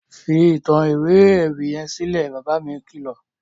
Fi ìtàn ìwé ewì yẹn sílẹ̀! Bàbá mi kìlọ̀.